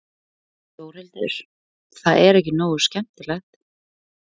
Þórhildur: Það er ekki nógu skemmtilegt?